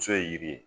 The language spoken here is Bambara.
Muso ye yiri ye